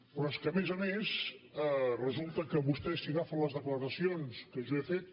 però és que a més a més resulta que vostè si agafa les declaracions que jo he fet